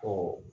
Ɔ